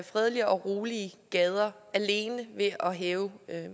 fredelige og rolige gader alene ved at hæve